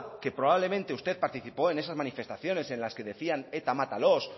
que probablemente usted participó en esas manifestaciones en las que decían eta matalos